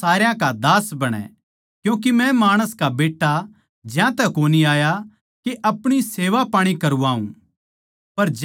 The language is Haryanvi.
पर थारै म्ह इसा न्ही होणा चाहिये बल्के जो कोए थारै म्ह बड्ड़ा होणा चाहवैं वो थारा सेवक बणै